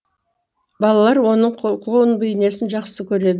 балалар оның клоун бейнесін жақсы көред